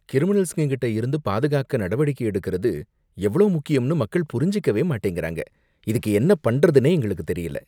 கிரிமினல்ங்ககிட்ட இருந்து பாதுகாத்துக்க நடவடிக்கை எடுக்கிறது எவ்ளோ முக்கியம்னு மக்கள் புரிஞ்சுக்கவே மாட்டேங்கிறாங்க, இதுக்கு என்ன பண்றதுனே எங்களுக்கு தெரியல